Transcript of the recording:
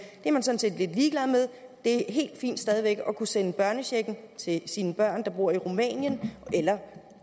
det er helt fint stadig væk at kunne sende børnechecken til sine børn der bor i rumænien eller